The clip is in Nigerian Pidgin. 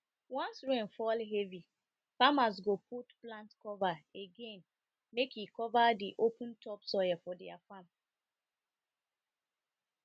once rain fall heavy farmers go put plant cover again make e cover the open topsoil for their farm